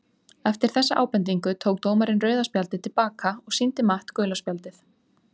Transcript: Eftir þessa ábendingu tók dómarinn rauða spjaldið til baka og sýndi Matt gula spjaldið!